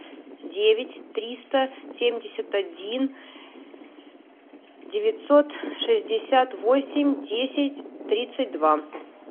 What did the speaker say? девять триста семьдесят один девятьсот шестьдесят восемь десять тридцать два